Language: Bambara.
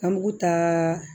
An bugu taa